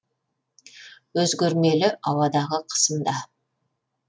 өзгермелі ауадағы қысым да